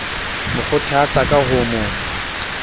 mo kgothatsa ka ho mo